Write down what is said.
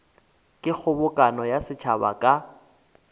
ke kgobokano ya setšhaba ka